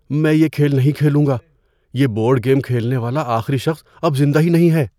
میں یہ کھیل نہیں کھیلوں گا۔ یہ بورڈ گیم کھیلنے والا آخری شخص اب زندہ ہی نہیں ہے۔